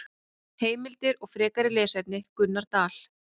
Heimildir og frekari lesefni: Gunnar Dal.